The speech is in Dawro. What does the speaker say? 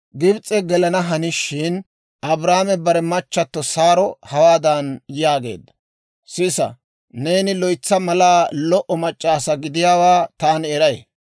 Gibis'e gelana hanishin, Abraame bare machchatto Saaro hawaadan yaageedda; «Sisa; neeni loytsa malaa lo"o mac'c'a asaa gidiyaawaa taani eray.